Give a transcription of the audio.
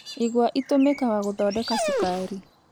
Igwa itũmikaga gũthondeka cukari.